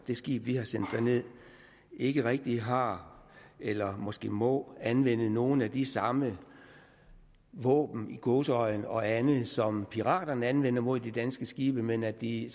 det skib vi har sendt derned ikke rigtig har eller måske må anvende nogle af de samme våben i gåseøjne og andet som piraterne anvender mod de danske skibe men at de